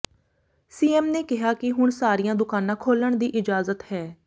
CM ਨੇ ਕਿਹਾ ਕਿ ਹੁਣ ਸਾਰੀਆਂ ਦੁਕਾਨਾਂ ਖੋਲ੍ਹਣ ਦੀ ਇਜਾਜ਼ਤ ਹੈ